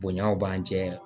Bonɲaw b'an cɛ